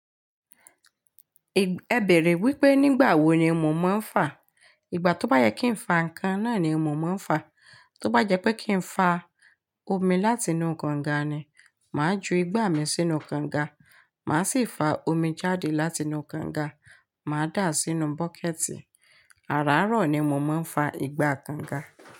Ẹ bèèrè wípé nígbà wo ni mò maa ń fá. Ìgbà tó bá yẹ kí n fa nǹkan náà ni mò maa ń fá. Tó bá jẹ́ pé kí n fa omi láti inú kànga ni, màá ju igbá mi sínú kànga, màá sì fa omi jáde láti inú kànga, màá dà á sínú bọ́kẹ̀tì. Àràárọ̀ ni mò ń fa ìgbà kànga.